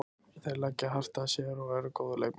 Þeir leggja mjög hart að sér og eru góðir leikmenn.